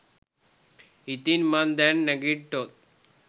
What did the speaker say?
ඉතින් මං දැන් නැගිට්ටොත්